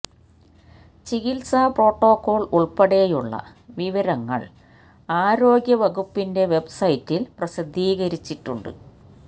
ചികിത്സാ പ്രോട്ടോക്കോള് ഉള്പ്പെടെയുള്ള വിവരങ്ങള് ആരോഗ്യ വകുപ്പിന്െ്റ വെബ്സൈറ്റില് പ്രസിദ്ധീകരിച്ചിട്ടുണ്ട്